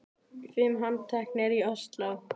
Fimm handteknir í Ósló